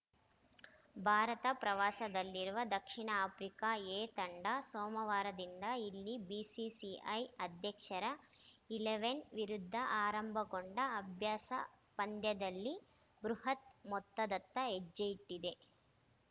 ಭಾರತ ಪ್ರವಾಸದಲ್ಲಿರುವ ದಕ್ಷಿಣ Africa A ತಂಡ ಸೋಮವಾರದಿಂದ ಇಲ್ಲಿ ಬಿಸಿಸಿಐ ಅಧ್ಯಕ್ಷರ ಇಲೆವೆನ್‌ ವಿರುದ್ಧ ಆರಂಭಗೊಂಡ ಅಭ್ಯಾಸ ಪಂದ್ಯದಲ್ಲಿ ಬೃಹತ್‌ ಮೊತ್ತದತ್ತ ಹೆಜ್ಜೆಯಿಟ್ಟಿದೆ